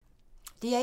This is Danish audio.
DR1